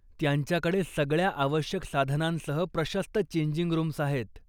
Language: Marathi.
त्यांच्याकडे सगळ्या आवश्यक साधनांसह प्रशस्त चेंजिंग रूम्स आहेत.